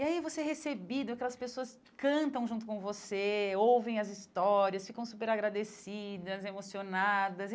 E aí você é recebido, aquelas pessoas cantam junto com você, ouvem as histórias, ficam super agradecidas, emocionadas.